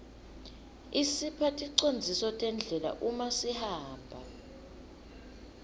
isipha ticondziso tendlela uma sihamba